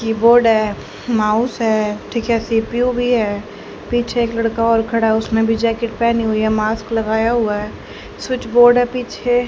Keyboard है mouse है ठीक है सी_पी_यू भी है पीछे एक लड़का और खड़ा उसने भी जैकेट पहनी हुई है मास्क लगाया हुआ है स्विच बोर्ड है पीछे।